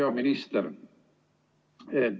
Hea minister!